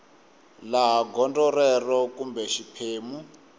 laha gondzo rero kumbe xiphemu